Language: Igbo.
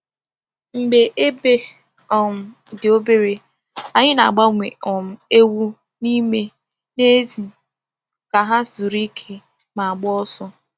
Mgbe ebe um dị obere, anyị na-agbanwe um ewu n’ime na n’èzí ka ha zuru ike ma gbaa ọsọ.